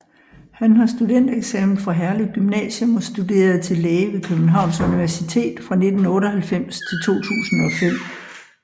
Han har studentereksamen fra Herlev Gymnasium og studerede til læge ved Københavns Universitet fra 1998 til 2005